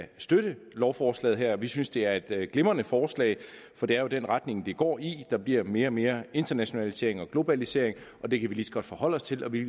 kan støtte lovforslaget her vi synes det er et glimrende forslag for det er jo den retning det går i der bliver mere og mere internationalisering og globalisering og det kan vi lige så godt forholde os til og vi